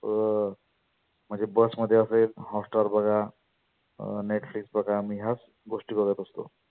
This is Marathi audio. अं म्हणजे Bus मध्ये असेल hotstar बघा. अं netflix बघा मी ह्याच गोष्टी बघत असतो.